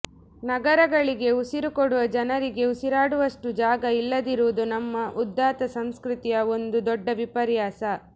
ನಗರಗಳಿಗೆ ಉಸಿರು ಕೊಡುವ ಜನರಿಗೇ ಉಸಿರಾಡುವಷ್ಟು ಜಾಗ ಇಲ್ಲದಿರುವುದು ನಮ್ಮ ಉದಾತ್ತ ಸಂಸ್ಕೃತಿಯ ಒಂದು ದೊಡ್ಡ ವಿಪರ್ಯಾಸ